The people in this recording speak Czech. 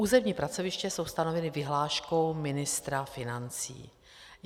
Územní pracoviště jsou stanovena vyhláškou ministra financí.